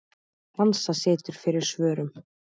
Hansa situr fyrir svörum.